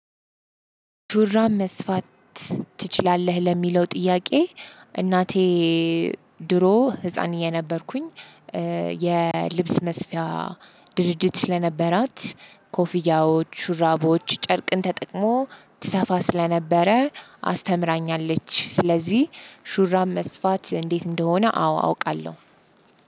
ሹራብ መስፋት ትችላለህ ለሚለው ጥያቄ? እናቴ ድሮ ህፃን የነበርኩኝ የልብስ መስፊያ ድርጅት ስለነበራት። ሹራቦች ጨርቅን ተጠቅሞ ትሰፋ ስለነበረ አስተምራኛለች። ስለዚህ ሹራብ መስፋት እንዴት እንደሆነ አዎ አውቃለሁ።